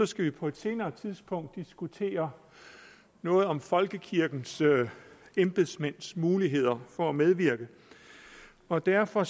skal vi på et senere tidspunkt diskutere noget om folkekirkens embedsmænds muligheder for at medvirke og derfor